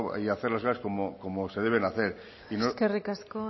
y hacer las cosas como se deben hacer eskerrik asko